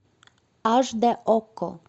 аш д окко